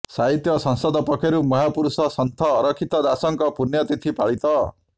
ସାହିତ୍ୟ ସଂସଦ ପକ୍ଷରୁ ମହାପୁରୁଷ ସନ୍ଥ ଅରକ୍ଷିତ ଦାସଙ୍କ ପୂଣ୍ୟ ତିଥି ପାଳିତ